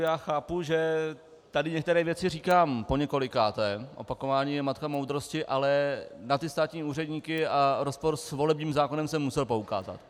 Já chápu, že tady některé věci říkám poněkolikáté, opakování je matka moudrosti, ale na ty státní úředníky a rozpor s volebním zákonem jsem musel poukázat.